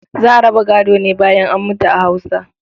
Za a raba gado ne bayan an mutu a Hausa.